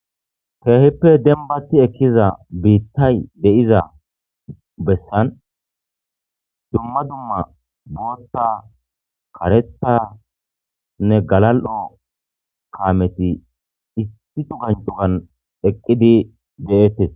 Heehippe dembaati ekkizan bittay de'iza bessan dumma dumma boota, karettane galal'o, kaameti issi sohan sohan eqqidi deettes.